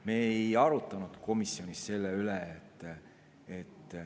Me ei arutanud komisjonis selle üle.